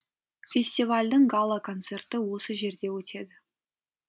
фестивальдің гала концерті осы жерде өтеді